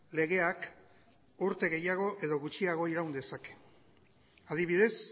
legeak urte gehiago edo gutxiago iran dezake adibidez